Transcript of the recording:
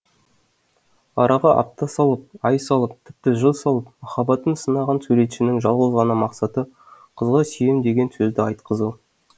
араға апта салып ай салып тіпті жыл салып махаббатын сынаған суретшінің жалғыз ғана мақсаты қызға сүйем деген сөзді айтқызу